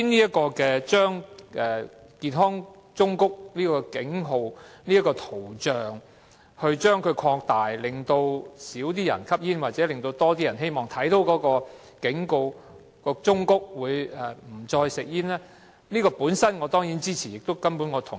政府今天提出擴大健康忠告圖像的比例，希望減少市民吸煙或令更多人在看到警告後不再吸煙，我當然支持這建議。